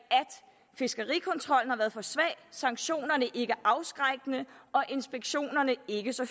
fiskerikontrollen har været for svag sanktionerne ikke afskrækkende og inspektionerne ikke så